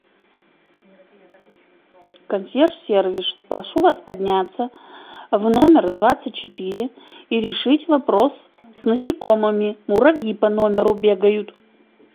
консьерж сервис прошу вас подняться в номер двадцать четыре и решить вопрос с насекомыми муравьи по номеру бегают